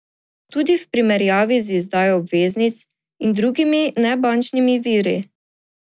Tudi v primerjavi z izdajo obveznic in drugimi nebančnimi viri.